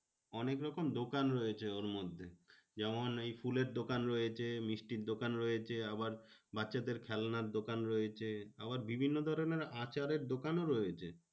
অনেকরকম দোকান রয়েছে ওর মধ্যে। যেমন এই ফুলের দোকান রয়েছে, মিষ্টির দোকান রয়েছে, আবার বাচ্চাদের খেলনার দোকান রয়েছে, আবার বিভিন্ন ধরণের আচারের দোকানও রয়েছে।